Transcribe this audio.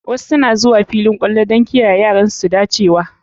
Wasu suna zuwa filin tsalle don kiyaye yaran su dacewa.